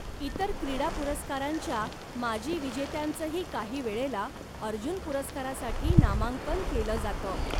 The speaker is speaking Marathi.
इतर क्रीडा पुरस्कारांच्या माजी विजेत्यांचंही काहीवेळेला अर्जुन पुरस्कारासाठी नामांकन केलं जातं.